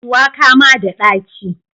Shuwaka ma da dachi.